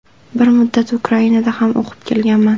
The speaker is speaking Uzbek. Bir muddat Ukrainada ham o‘qib kelganman.